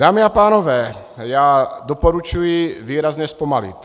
Dámy a pánové, já doporučuji výrazně zpomalit.